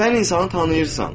Sən insanı tanıyırsan.